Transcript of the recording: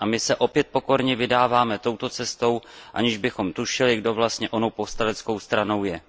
A my se opět pokorně vydáváme touto cestou, aniž bychom tušili, kdo vlastně onou povstaleckou stranou je.